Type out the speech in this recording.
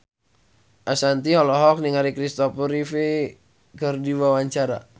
Ashanti olohok ningali Kristopher Reeve keur diwawancara